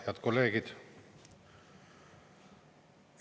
Head kolleegid!